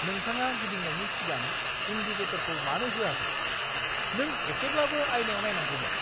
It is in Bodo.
नोंथाङा गिदिंनायनि सिगां इंडिकेटरखौ मानो होआखै? नों एसेब्लाबो आयनायाव नायनांगौमोन!